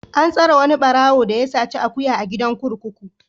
An tsare wani ɓarawo da ya saci akuya a gidan kurkuku.